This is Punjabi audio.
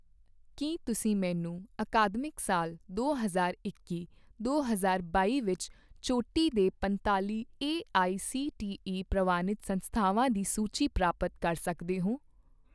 ਕੀ ਤੁਸੀਂ ਮੈਨੂੰ ਅਕਾਦਮਿਕ ਸਾਲ ਦੋ ਹਜ਼ਾਰ ਇੱਕੀ ਦੋ ਹਜ਼ਾਰ ਬਾਈ ਵਿੱਚ ਚੋਟੀ ਦੇ ਪੰਤਾਲ਼ੀ ਏਆਈਸੀਟੀਈ ਪ੍ਰਵਾਨਿਤ ਸੰਸਥਾਵਾਂ ਦੀ ਸੂਚੀ ਪ੍ਰਾਪਤ ਕਰ ਸਕਦੇ ਹੋ?